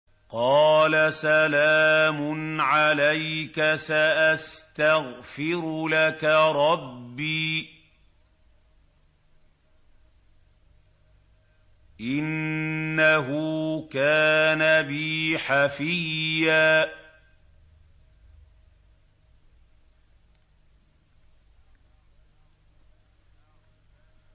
قَالَ سَلَامٌ عَلَيْكَ ۖ سَأَسْتَغْفِرُ لَكَ رَبِّي ۖ إِنَّهُ كَانَ بِي حَفِيًّا